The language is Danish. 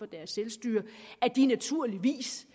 deres selvstyre at de naturligvis